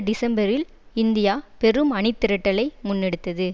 டிசம்பரில் இந்தியா பெரும் அணிதிரட்டலை முன்னெடுத்தது